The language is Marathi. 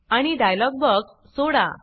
आणि डायलॉग बॉक्स सोडा